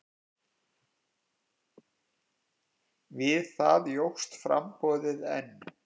Við það jókst framboðið enn.